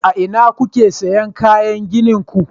a ina kuke siyan kayan ginin ku